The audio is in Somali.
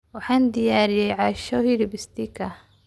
Waxaan diyaariyey casho hilib steak ah.